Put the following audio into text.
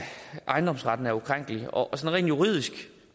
ejendomsretten er ukrænkelig og rent juridisk